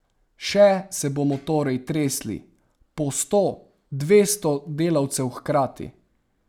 Še se bomo torej tresli, po sto, dvesto delavcev hkrati.